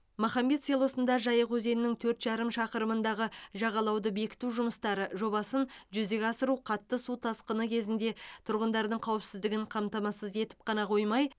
махамбет селосында жайық өзенінің төрт жарым шақырымындағы жағалауды бекіту жұмыстары жобасын жүзеге асыру қатты су тасқыны кезінде тұрғындардың қауіпсіздігін қамтамасыз етіп қана қоймай